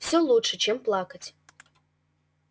все лучше чем плакать